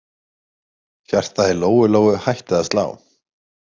Hjartað í Lóu-Lóu hætti að slá.